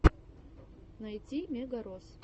найти мегарос